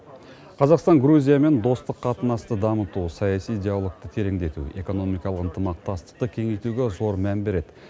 қазақстан грузиямен достық қатынасты дамыту саяси диалогты тереңдету экономикалық ынтымақтастықты кеңейтуге зор мән береді